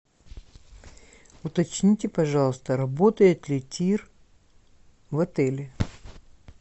уточните пожалуйста работает ли тир в отеле